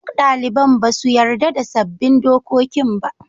Duk daliban ba su yarda da sabbin dokokin ba.